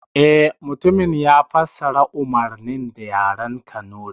Eh, mutumin ya fassara umarnin da yaren kanuri